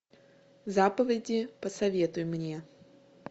заповеди посоветуй мне